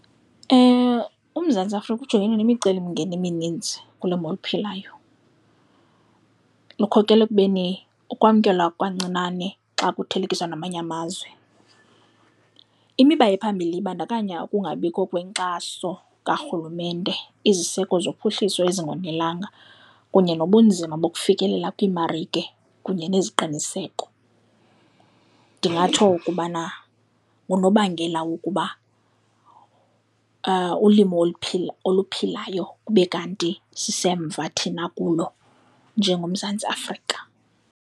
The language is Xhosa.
UMzantsi Afrika ujongene nemicelimngeni eminintsi kulimo oluphilayo, likhokelwa ekubeni ukwamkelwa kancinane xa kuthelekiswa namanye amazwe. Imiba ephambilli ibandakanya ukungabikho kwenkxaso karhulumente, iziseko zophuhliso ezingonelanga kunye nobunzima bokufikelela kwiimarike kunye neziqiniseko. Ndingatsho ukubana ngunobangela wokuba ulimo oluphilayo kube kanti sisemva thina kulo njengoMzantsi Afrika.